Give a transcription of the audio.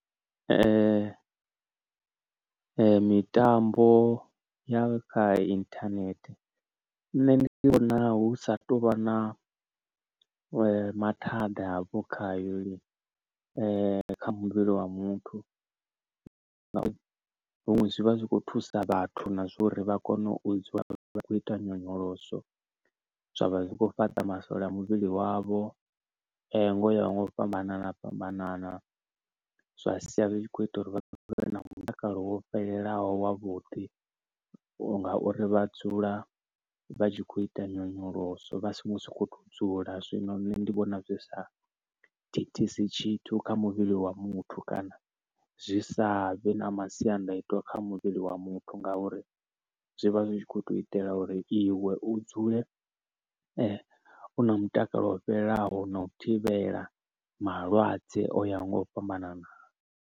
Mitambo ya kha internet, nṋe ndi vhona hu sa tuvha na mathada hafho khayo lini, kha muvhili wa muthu. Huṅwe zwi vha zwi khou thusa vhathu na zwa uri vha kone u vha khou ita nyonyoloso, zwavha zwi khou fhaṱa masole a muvhili wavho ngo ya ho nga u fhambanana fhambanana. Zwa sia zwi tshi khou ita uri vha vhe na mutakalo wo fhelelaho wa vhuḓi, ngauri vha dzula vha tshi khou ita nyonyoloso vhasi si ngo soko dzula, zwino nṋe ndi vhona zwi sa thithisi tshithu kha muvhili wa muthu, kana zwi sa vhe na masiandaitwa kha muvhili wa muthu, nga uri zwi vha zwi khou to itela uri iwe u dzule u na mutakalo wo fhelelaho na u thivhela malwadze o yaho nga u fhambanana.